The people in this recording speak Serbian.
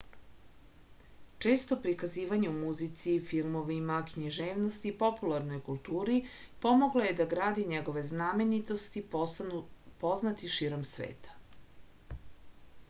često prikazivanje u muzici filmovima književnosti i popularnoj kulturi pomoglo je da grad i njegove znamenitosti postanu poznati širom sveta